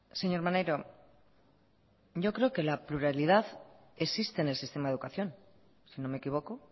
señor maneiro yo creo que la pluralidad existe en el sistema de educación si no me equivoco